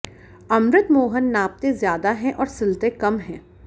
अमृत मोहन नापते ज्यादा है और सिलते कम है